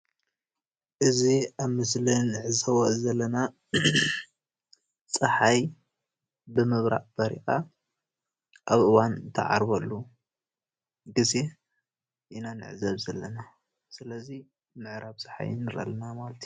እዚ ኣብ ምስሊ እንዖዞቦ ዘለና ፀሐይ ብምብራቅ በሪቃ ኣብ እዋኑ እትዓርበሉ ግዜ ኢና ንዕዘብ ዘለና። ሰለዚ ምዕራብ ፀሓይ ንዕዘብ ኣለና ማለት እዩ።